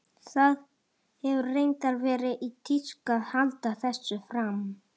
Það hefur reyndar verið í tísku að halda þessu fram.